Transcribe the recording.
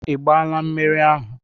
Ị gbaala mmiri ahụ?